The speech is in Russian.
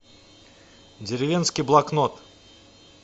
деревенский блокнот